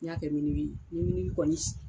N y'a kɛ ni kɔni